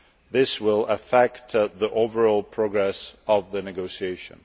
This will affect the overall progress of the negotiations.